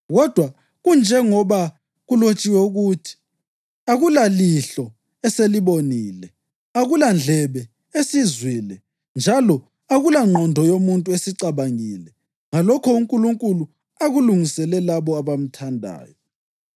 Kodwa kunjengoba kulotshiwe ukuthi: “Akulalihlo eselibonile, akulandlebe esizwile; njalo akulangqondo yomuntu esicabangile ngalokho uNkulunkulu akulungisele labo abamthandayo,” + 2.9 U-Isaya 64.4